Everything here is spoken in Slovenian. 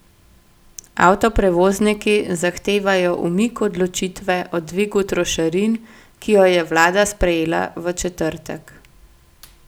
Avtoprevozniki zahtevajo umik odločitve o dvigu trošarin, ki jo je vlada sprejela v četrtek.